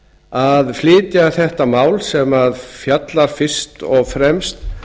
að flytja þetta mál sem fjallar fyrst og fremst